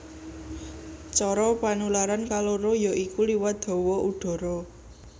Cara panularan kaloro ya iku liwat hawa udhara